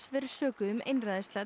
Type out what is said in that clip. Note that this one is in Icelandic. verið sökuð um